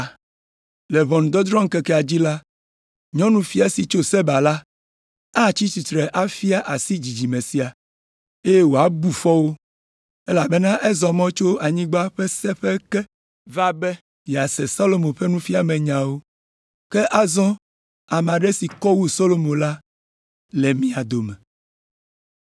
Le ʋɔnudrɔ̃ŋkekea dzi la, Nyɔnufia si tso Seba la atsi tsitre afia asi dzidzime sia, eye wòabu fɔ wo, elabena ezɔ mɔ tso anyigba ƒe seƒe ke va be yease Solomo ƒe nufiamenyawo, ke azɔ ame aɖe si kɔ wu Solomo la le mia dome.